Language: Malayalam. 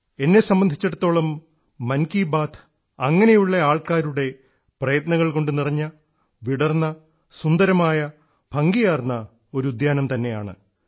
എന്നെ സംബന്ധിച്ചിടത്തോളം മൻ കി ബാത്ത് അങ്ങനെയുള്ള ആൾക്കാരുടെ പ്രയത്നങ്ങൾകൊണ്ടു നിറഞ്ഞ വിടർന്ന സുന്ദരമായ ഭംഗിയാർന്ന ഒരു ഉദ്യാനം തന്നെയാണ്